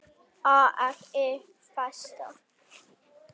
AFI Fest